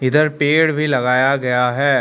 इधर पेड़ भी लगाया गया है।